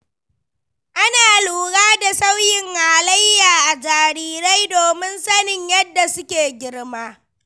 Ana lura da sauyin halayya a jarirai domin sanin yadda suke girma.